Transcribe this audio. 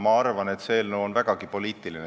Ma arvan, et see eelnõu on vägagi poliitiline.